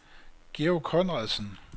Georg Conradsen